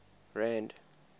rand